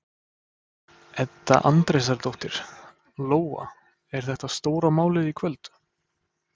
Edda Andrésdóttir: Lóa, er þetta stóra málið í kvöld?